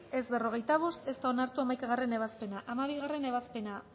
boto aldekoa cuarenta y cinco contra ez da onartu hamaikagarrena ebazpena hamabigarrena ebazpena